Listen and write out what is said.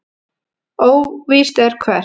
Óvíst er hvert.